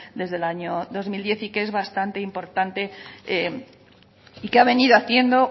desde el año dos mil diez y que es bastante importante y que ha venido haciendo